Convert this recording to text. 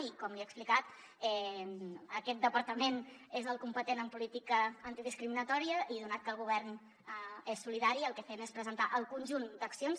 i com li he explicat aquest departament és el competent en política antidiscriminatòria i atès que el govern és solidari el que fem és presentar el conjunt d’accions